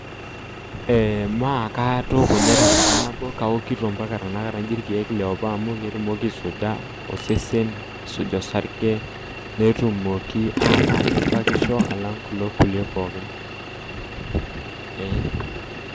Ee maa katooko inye tenkata nabo kaokito mpaka tanakata nji irkeek le apa amu ketumoki aisuja osarge netumoki ataa kebakisho alang' kulo kulie pookin.